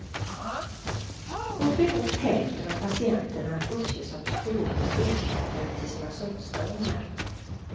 Uppemot hälften av patienterna uppges ha psykologiska orsaker till sina sömnstörningar.